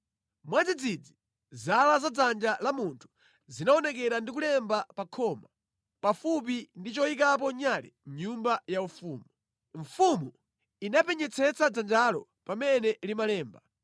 Mwadzidzidzi zala za dzanja la munthu zinaonekera ndi kulemba pa khoma, pafupi ndi choyikapo nyale mʼnyumba yaufumu. Mfumu inapenyetsetsa dzanjalo pamene limalemba.